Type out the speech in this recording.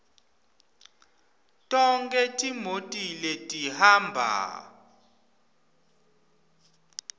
tonkhe timoti letihamba